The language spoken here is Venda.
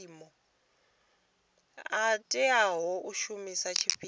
a tea u shumiswa tshifhinga